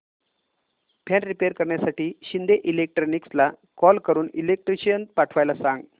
fan repair करण्यासाठी शिंदे इलेक्ट्रॉनिक्सला call करून इलेक्ट्रिशियन पाठवायला सांग